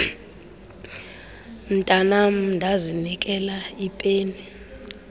mntanam ndazinikela ipeni